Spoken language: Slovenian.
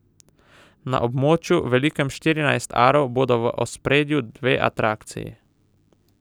Na območju, velikem štirinajst arov, bodo v ospredju dve atrakciji.